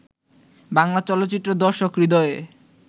বাংলা চলচ্চিত্রের দর্শক হৃদয়ে